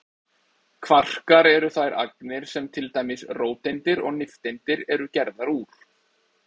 Kvarkar eru þær agnir sem til dæmis róteindir og nifteindir eru gerðar úr.